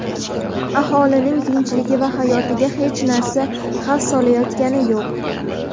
aholining tinchligi va hayotiga hech narsa xavf solayotgani yo‘q.